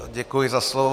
Děkuji za slovo.